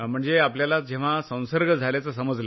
म्हणजे आपल्याला जेव्हा संसर्ग झाल्याचं समजलं